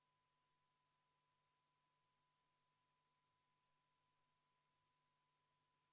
Juhtivkomisjon on arvestanud seda täielikult.